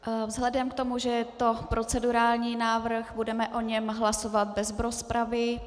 Vzhledem k tomu, že to je procedurální návrh, budeme o něm hlasovat bez rozpravy.